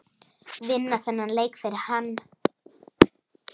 Vinna þennan leik fyrir hann!